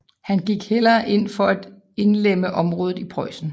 Han gik hellere ind for at indlemme området i Preussen